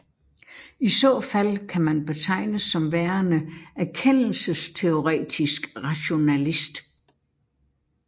I så fald kan man betegnes som værende erkendelsesteoretisk rationalist